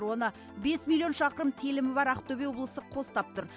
оны бес миллион шақырым телімі бар ақтөбе облысы қостап тұр